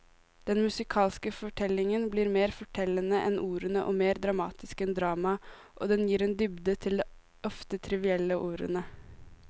Den musikalske fortellingen blir mer fortellende enn ordene og mer dramatisk enn dramaet, og den gir en dybde til de ofte trivielle ordene.